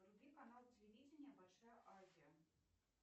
вруби канал телевидения большая азия